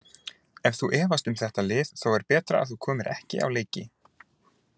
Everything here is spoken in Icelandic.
Ef þú efast um þetta lið þá er betra að þú komir ekki á leiki.